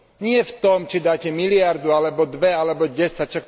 Nie v tom, či dáte miliardu alebo dve alebo desať.